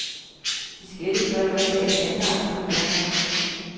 Diskettedrev er i dag standard på de bærbare.